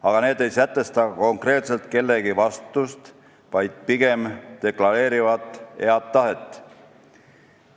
Aga need ei sätesta konkreetselt kellegi vastutust, vaid pigem deklareerivad head tahet.